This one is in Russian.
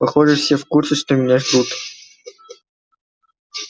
похоже все в курсе что меня ждут